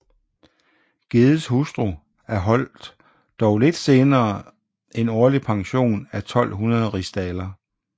Geddes hustru erholdt dog lidt senere en årlig pension af 1200 rdl